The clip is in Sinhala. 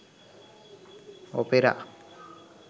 opera